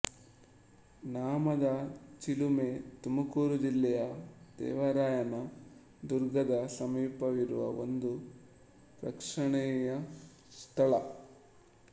ನಾಮದ ಚಿಲುಮೆ ತುಮಕೂರು ಜಿಲ್ಲೆಯ ದೇವರಾಯನ ದುರ್ಗದ ಸಮೀಪವಿರುವ ಒಂದು ಪ್ರೇಕ್ಷಣೀಯ ಸ್ಥಳ